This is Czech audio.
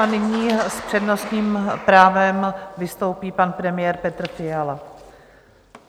A nyní s přednostním právem vystoupí pan premiér Petr Fiala.